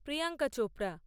Priyanka Chopra